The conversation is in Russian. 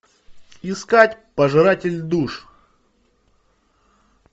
искать пожиратель душ